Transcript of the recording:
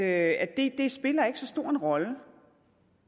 at det ikke spiller så stor en rolle